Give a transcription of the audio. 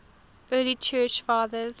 early church fathers